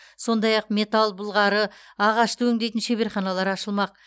сондай ақ металл былғары ағашты өңдейтін шеберханалар ашылмақ